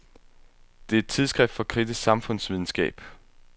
Det er et tidsskrift for kritisk samfundsvidenskab.